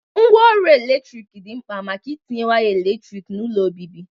Ngwa ọrụ eletrik dị mkpa maka itinye waya eletrik n'ụlọ obibi.